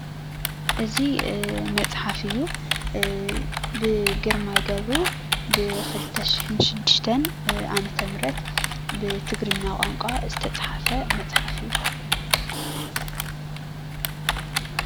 እዚ መፅሓፍ እዩ ብግርማይ ገብሩ ብ 2006 ዓ/ም ብትግርኛ ቋንቋ ዝተፀሓፈ መፅሓፍ እዩ።